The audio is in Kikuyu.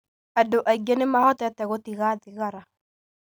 Andũ aingĩ nĩ mahotete gũtiga thigara.